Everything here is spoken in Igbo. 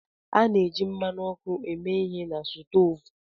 A na-eji mmanụ ọkụ eme ihe na stoovu